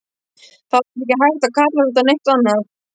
Það var ekki hægt að kalla þetta neitt annað.